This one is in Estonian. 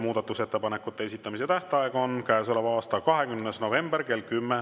Muudatusettepanekute esitamise tähtaeg on käesoleva aasta 20. november kell 10.